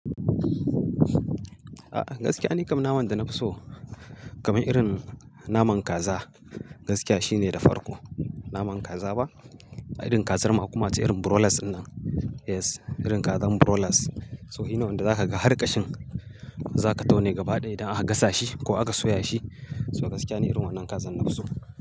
A'a gaskiya ni kam naman da na fi so kamar irin naman kaza. Gaskiya shine da farko naman kaza ba, irin kazar ma kuma wacce irin broilers nan. Yes irin kazar broilers. So shi ne wanda zaka ga harƙashin, zaka tauna gaba ɗaya idan aka gasa shi ko aka soya shi. Toh gaskiya ni irin wannan kazar na fi so.